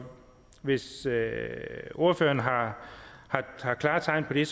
hvis ordføreren har klare tegn på det